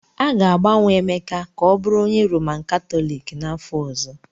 A ga-agbanwe Emeka ka ọ bụrụ onye Roman Katọliki n'afọ ọzọ!